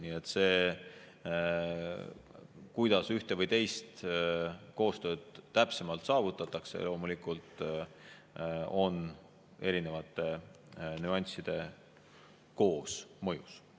Nii et see, kuidas ühte või teist koostööd täpsemalt saavutatakse, loomulikult erinevate nüansside koosmõjust.